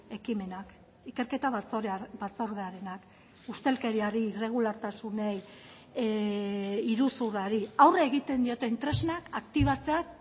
ekimenak ikerketa batzordearenak ustelkeriari irregulartasunei iruzurrari aurre egiten dioten tresnak aktibatzea